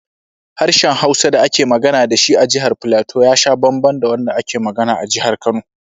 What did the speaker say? Harshen Hausa da ake magana da shi a Jihar Filato ya sha bamban da wanda ake magana a Jihar Kano.